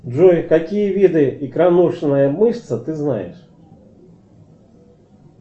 джой какие виды икроножная мышца ты знаешь